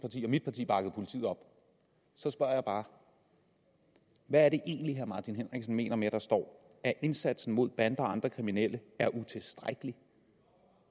parti og mit parti bakker politiet op så spørger jeg bare hvad er det egentlig herre martin henriksen mener med at der står at indsatsen mod bander og andre kriminelle er utilstrækkelig